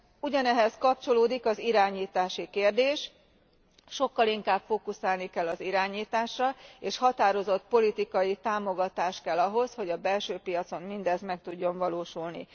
Ugyanehhez kapcsolódik az irányítási kérdés Sokkal inkább fókuszálni kell az irányításra, és határozott politikai támogatás kell ahhoz, hogy a belső piacon mindez meg tudjon valósulni.